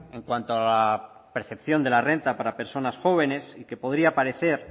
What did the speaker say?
en cuanto a la percepción de la renta para personas jóvenes y que podría parecer